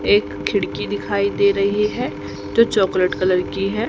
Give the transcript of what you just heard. एक खिड़की दिखाई दे रही है जो चॉकलेट कलर की है।